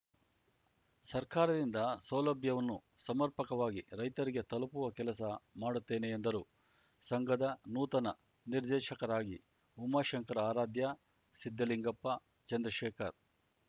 ಸರ್ಕಾರದಿಂದ ಸೌಲಭ್ಯವನ್ನು ಸಮರ್ಪಕವಾಗಿ ರೈತರಿಗೆ ತಲುಪುವ ಕೆಲಸ ಮಾಡುತ್ತೇನೆ ಎಂದರು ಸಂಘದ ನೂತನ ನಿರ್ದೇಶಕರಾಗಿ ಉಮಾಶಂಕರ ಆರಾಧ್ಯ ಸಿದ್ದಲಿಂಗಪ್ಪ ಚಂದ್ರಶೇಖರ್